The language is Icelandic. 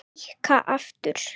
Víkka aftur.